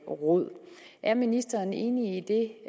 råd er ministeren enig i det